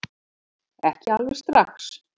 Ekki alveg strax